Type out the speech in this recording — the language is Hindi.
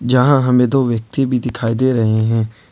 जहां हमें दो व्यक्ति भी दिखाई दे रहे हैं।